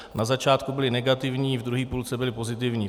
Na začátku byly negativní, v druhé půlce byly pozitivní.